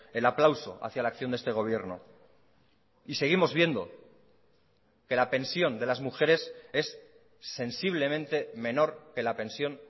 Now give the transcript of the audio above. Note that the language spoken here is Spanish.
el aplauso hacia la acción de este gobierno y seguimos viendo que la pensión de las mujeres es sensiblemente menor que la pensión